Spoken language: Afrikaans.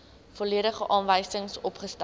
volledige aanwysings opgestel